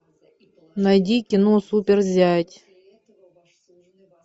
найди кино супер зять